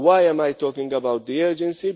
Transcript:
Why am I talking about the urgency?